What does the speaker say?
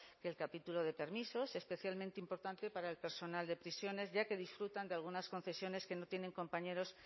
que el capítulo de permisos especialmente importante para el personal de prisiones ya que disfrutan de algunas concesiones que no tienen compañeros